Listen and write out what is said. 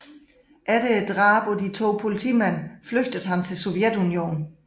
Efter drabet på de to politimænd flygtede han til Sovjetunionen